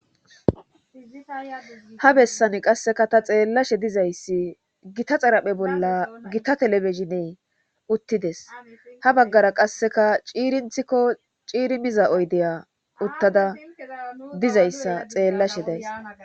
ha bessane qasseka ta xeellashe dizayssi gita xaraphe bolla gita telebezhiney uttides ha baggara qasseka ciirinthikko ciirimiza oydeya uttada dizayssa xeellashe days